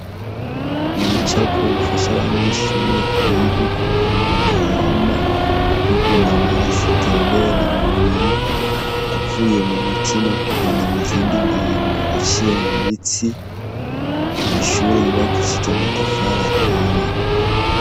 Ibicapo bifasha abanyeshuri kwiga ukuntu umuntu ahema n' ukuntu amaraso atembera mu mubiri avuye mu mutima kugenda muzindi ngingo aciye mu mitsi ku mashuri yubakishije amatafari ahiye.